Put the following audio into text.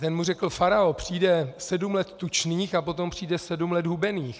Ten mu řekl: Farao, přijde sedm let tučných a potom přijde sedm let hubených.